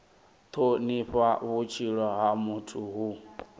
thonifha vhutshilo ha muthu hu